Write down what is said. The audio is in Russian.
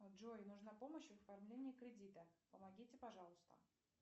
джой нужна помощь в оформлении кредита помогите пожалуйста